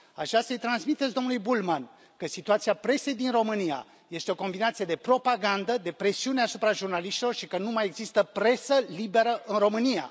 Așa să i transmiteți domnului Bullmann că situația presei din România este o combinație de propagandă, de presiune asupra jurnaliștilor și că nu mai există presă liberă în România.